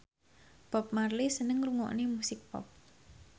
Bob Marley seneng ngrungokne musik pop